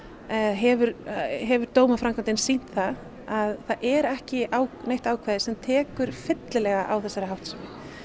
hefur hefur dómaframkvæmdin sýnt það að það er ekki neitt ákvæði sem tekur fyllilega á þessari háttsemi